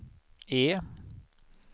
E